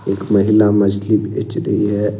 एक महिला मछली बेच रही है।